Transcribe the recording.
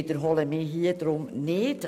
Deshalb wiederhole ich mich hier nicht.